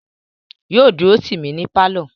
Yóò dúró tì mí ní pálọ̀